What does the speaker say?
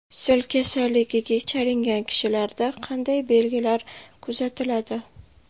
Sil kasalligiga chalingan kishilarda qanday belgilar kuzatiladi?